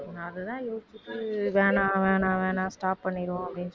அதுதான் யோசிச்சுட்டு வேணாம் வேணாம் வேணாம் stop பண்ணிருவோம் அப்படின்னு